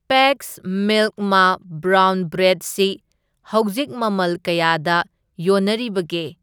Packs milk ꯃꯥ brown bread ꯁꯤ ꯍꯧꯖꯤꯛ ꯃꯃꯜ ꯀꯌꯥꯗ ꯌꯣꯟꯅꯔꯤꯕꯒꯦ?